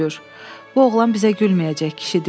Bu oğlan bizə gülməyəcək, kişi dilləndi.